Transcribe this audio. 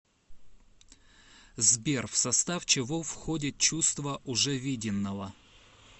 сбер в состав чего входит чувство уже виденного